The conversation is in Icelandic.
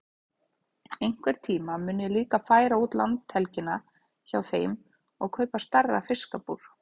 Einhvern tíma mun ég líka færa út landhelgina hjá þeim og kaupa stærra fiskabúr.